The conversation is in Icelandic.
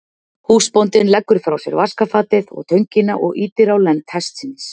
Húsbóndinn leggur frá sér vaskafatið og töngina og ýtir á lend hestsins.